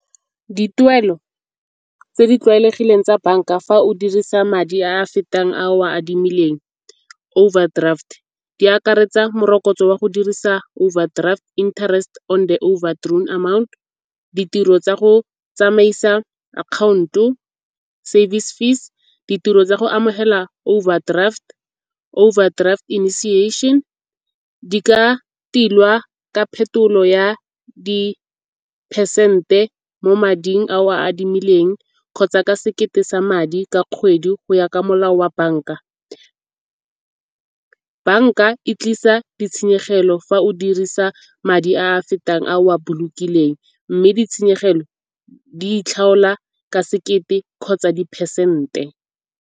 Dituelo tse di tlwaelegileng tsa banka fa o dirisa madi a a fetang ao a adimileng, overdraft di akaretsa morokotso wa go dirisa overdraft interest on the over drone amount. Ditiro tsa go tsamaisa account-o, service fees, ditiro tsa go amogela overdraft . Di ka tilwa ka phetolo ya di-percent-e mo mading ao a adimileng kgotsa ka sekete sa madi ka kgwedi go ya ka molao wa banka. Banka e tlisa ditshenyegelo fa o dirisa madi a a fetang ao a bolokileng mme ditshenyegelo di itlhaola ka sekete kgotsa di-percent-e.